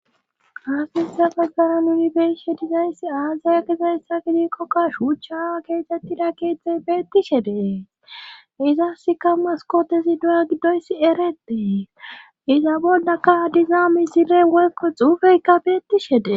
asnisa maggara nunibeishe dizayssi aazaya gizayssa gidi qokka shuucha aawa keexettida keette beetti shede izasika maskootesi du7a giddoyssi ereetee iza boldaka diza misile wekqo xuufeykka beetti shede